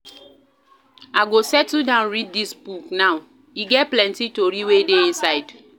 I go settle down read dis book now, e get plenty tori wey dey inside.